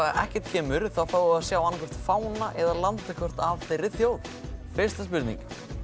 ekkert kemur þá fáum við að sjá annaðhvort fána eða landakort af þeirri þjóð fyrsta spurning